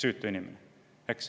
Eks?